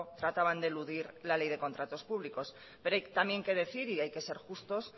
trataban de eludir la ley de contratos públicos pero hay también que decir y hay que ser justos